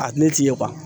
A ne ti ye